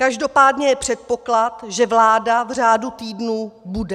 Každopádně je předpoklad, že vláda v řádu týdnů bude.